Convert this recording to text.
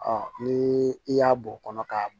ni i y'a bɔ kɔnɔ k'a